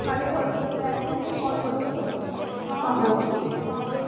କାଲି ଘରକୁ ଯେତେବେଳେ ଆସିବୁ call କରିଦବୁ ଆଉ